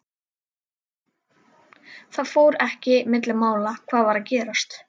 Það fór ekki milli mála hvað var að gerast.